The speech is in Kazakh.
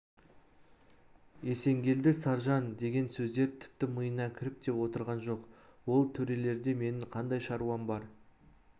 есенгелді саржан деген сөздер тіпті миына кіріп те отырған жоқ ол төрелерде менің қандай шаруам бар